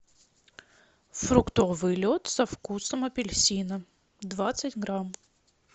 фруктовый лед со вкусом апельсина двадцать грамм